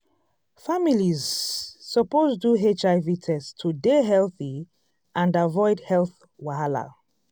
families suppose do hiv test to dey healthy and avoid health wahala.